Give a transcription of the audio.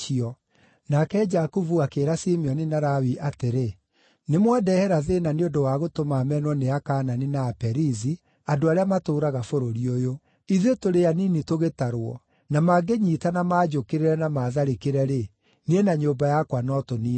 Nake Jakubu akĩĩra Simeoni na Lawi atĩrĩ, “Nĩmwandehera thĩĩna nĩ ũndũ wa gũtũma menwo nĩ Akaanani na Aperizi, andũ arĩa matũũraga bũrũri ũyũ. Ithuĩ tũrĩ anini tũgĩtarwo, na mangĩnyiitana manjũkĩrĩre na matharĩkĩre-rĩ, niĩ na nyũmba yakwa no tũniinwo.”